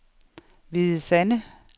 Hvide Sande